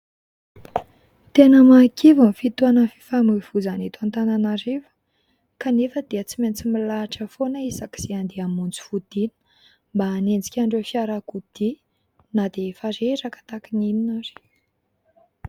Tena mahakivy ny fitohanan'ny fifamohivohizana eto Antananarivo kanefa dia tsy maintsy milahatra foana isaky izay hamonjy fodiana, mba hanenjika an'ireo fiarakodia na dia efa reraka tahaka ny inona ary.